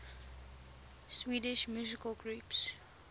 swedish musical groups